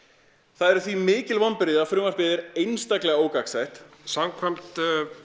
það eru því mikil vonbrigði að frumvarpið er einstaklega ógagnsætt samkvæmt